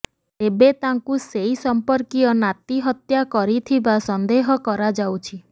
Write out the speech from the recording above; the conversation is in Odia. ତେବେ ତାଙ୍କୁ ସେଇ ସମ୍ପର୍କୀୟ ନାତି ହତ୍ୟା କରିଥିବା ସନ୍ଦେହ କରାଯାଉଛି